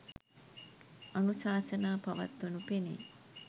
අනුශාසනා පවත්වනු පෙනේ.